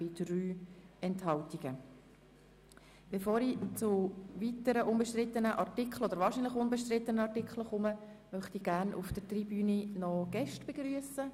Bevor ich nun zu den nächsten, wahrscheinlich unbestrittenen Artikeln komme, möchte ich gerne noch Gäste auf der Tribüne begrüssen.